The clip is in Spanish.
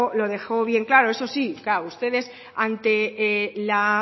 lo dejó bien claro eso sí claro ustedes ante la